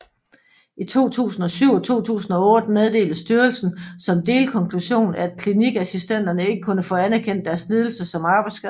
I 2007 og 2008 meddelte styrelsen som delkonklusion at klinikassistenterne ikke kunne få anerkendt deres lidelser som arbejdsskader